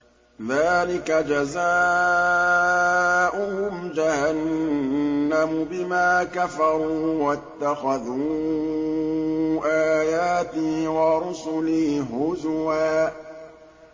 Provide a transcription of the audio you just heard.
ذَٰلِكَ جَزَاؤُهُمْ جَهَنَّمُ بِمَا كَفَرُوا وَاتَّخَذُوا آيَاتِي وَرُسُلِي هُزُوًا